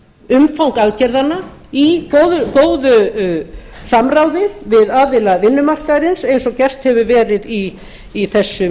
umfang aðgerðanna í góðu samráði við aðila vinnumarkaðarins eins og gert hefur verið í